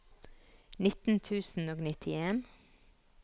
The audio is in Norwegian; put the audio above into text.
nitten tusen og nittien